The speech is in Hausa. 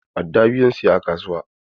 Adda biyu zan saya a kasuwa.